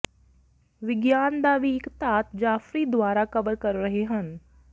ਵਿਗਿਆਨ ਦਾ ਵੀ ਇੱਕ ਧਾਤ ਜਾਫਰੀ ਦੁਆਰਾ ਕਵਰ ਕਰ ਰਹੇ ਹਨ